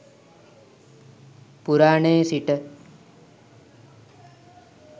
පුරාණයේ සිට